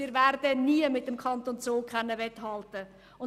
Wir werden nie mit dem Kanton Zug mithalten können.